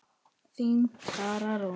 Þín, Klara Rún.